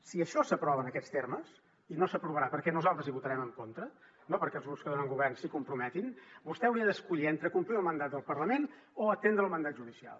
si això s’aprova en aquests termes i no s’aprovarà perquè nosaltres hi votarem en contra no perquè els grups de govern s’hi comprometin vostè hauria d’escollir entre complir el mandat del parlament o atendre el mandat judicial